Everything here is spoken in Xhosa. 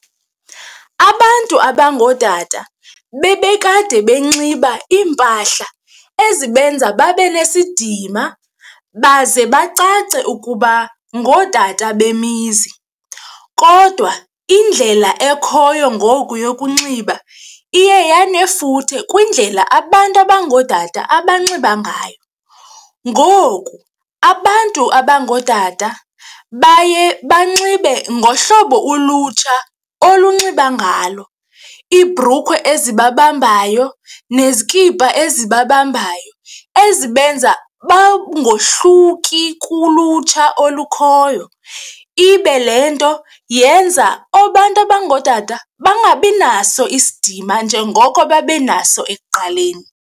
Abantu abangootata bebekade benxiba iimpahla ezibenza babe nesidima baze bacace ukuba ngootata bemizi kodwa indlela ekhoyo ngoku yokunxiba iye yanefuthe kwindlela abantu abangootata abanxiba ngayo. Ngoku abantu abangootata baye banxibe ngohlobo ulutsha olunxiba ngalo, ibhrukhwe ezi babambayo nezikipa ezibabambayo ezibenza bangahluki kulutsha olukhoyo. Ibe le nto yenza abantu abangootata bangabi naso isidima njengoko babe naso ekuqaleni.